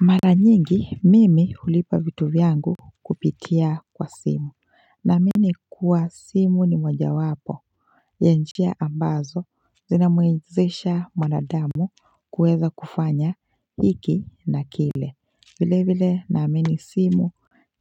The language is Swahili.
Mara nyingi mimi hulipa vitu vyangu kupitia kwa simu Naamini kuwa simu ni moja wapo ya njia ambazo zinamwezesha mwanadamu kuweza kufanya hiki na kile vile vile naamini simu